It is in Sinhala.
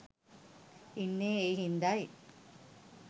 ඉන්නේ ඒ හින්දයි.